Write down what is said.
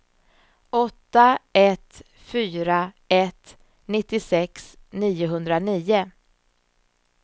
åtta ett fyra ett nittiosex niohundranio